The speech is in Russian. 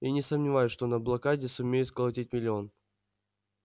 и не сомневаюсь что на блокаде сумею сколотить миллион